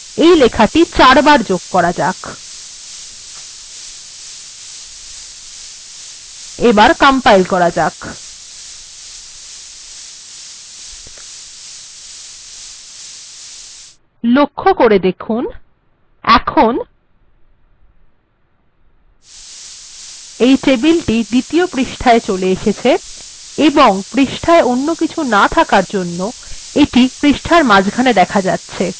এই লেখাটিই চারবার যোগ করা যাক এবার কম্পাইল করা যাক দেখুন টেবিলটি দ্বিতীয় পৃষ্ঠায় চলে গেছে এবং পৃষ্ঠায় অন্য কিছু না থাকার জন্য টেবিলটি পৃষ্ঠার মাঝখানে চলে গেছে